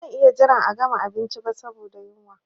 Ba zan iya jiran a gama abinci ba saboda yunwa.